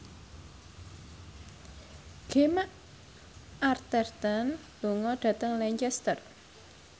Gemma Arterton lunga dhateng Lancaster